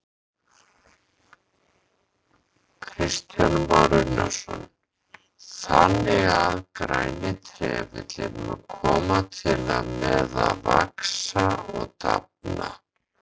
Kristján Már Unnarsson: Þannig að græni trefillinn mun koma til með að vaxa og dafna?